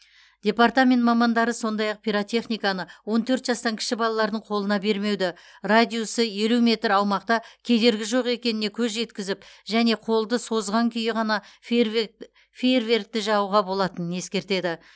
департамент мамандары сондай ақ пиротехниканы он төрт жастан кіші балалардың қолына бермеуді радиусы елу метр аумақта кедергі жоқ екеніне көз жеткізіп және қолды созған күйі ғана фейерверкті жағуға болатынын ескертеді